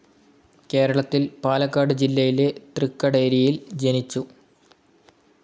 കേരളത്തിൽ പാലക്കാട് ജില്ലയിലെ തൃക്കടേരിയിൽ ജനിച്ചു.